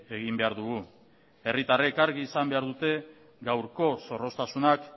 egin behar dugu herritarrek argi izan behar dute gaurko zorroztasunak